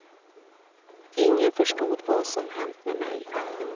Ingen förstod vad som hänt med mig.